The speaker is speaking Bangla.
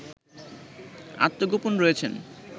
আত্মগোপনে রয়েছেন